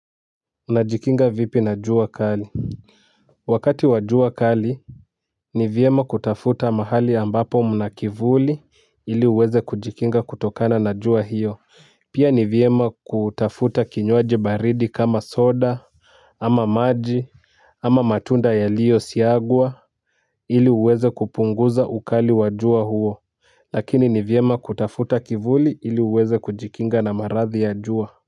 Najikinga vipi na jua kali. Wakati wa jua kali ni vyema kutafuta mahali ambapo mna kivuli ili uweze kujikinga kutokana na jua hiyo. Pia ni vyema kutafuta kinywaji baridi kama soda ama maji ama matunda yaliyo siagwa ili uweze kupunguza ukali wa jua huo. Lakini ni vyema kutafuta kivuli ili uweze kujikinga na maradhi ya jua. Kwa hivyo.